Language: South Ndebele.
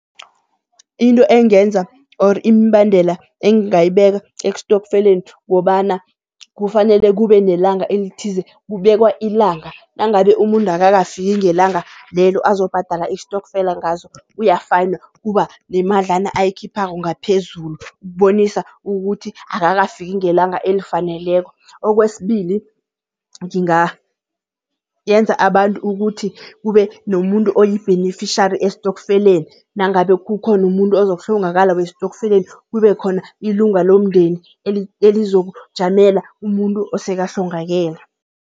Into engenza or imibandela engingayibeka estofkeleni kobana kufanele kube nelanga elithize, kubekwa ilanga nangabe umuntu akakafiki ngelanga lelo azobhadala istokfela ngazo uyafayinw. Kuba nemadlana ayikhiphako ngaphezulu, ukubonisa ukuthi akakafiki ngelanga elifaneleko. Okwesibili, ngingayenza abantu ukuthi kube nomuntu oyi-beneficiary estofkeleni, nangabe kukhona umuntu ozokuhlongakala westokfeleni kube khona ilunga lomndeni elizokujamela umuntu osekahlongakele.